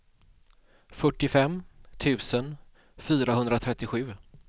fyrtiofem tusen fyrahundratrettiosju